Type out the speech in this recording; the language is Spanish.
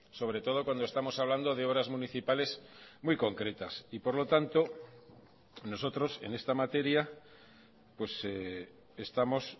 sobre todo cuando estamos hablando de obras municipales muy concretas y por lo tanto nosotros en esta materia estamos